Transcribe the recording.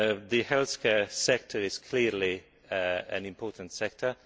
The healthcare sector is clearly an important sector